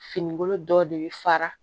Finikolo dɔw de bɛ fara